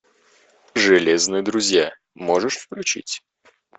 железные друзья можешь включить